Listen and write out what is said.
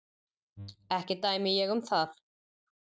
Ekki dæmi ég um það.